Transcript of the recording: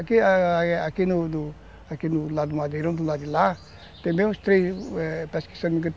Aqui do do aqui do lado do Madeirão, do lado de lá, tem bem uns três